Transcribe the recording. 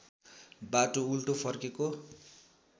बाटो उल्टो फर्केको